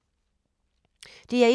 DR1